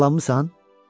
Yaralanmısan?